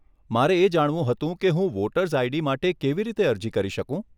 મારે એ જાણવું હતું કે હું વોટર્સ આઈડી માટે કેવી રીતે અરજી કરી શકું?